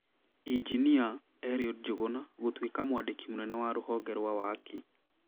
Injinia, Eliud Njuguna, gũtuĩka mwandĩki mũnene wa rũhonge rwa waki.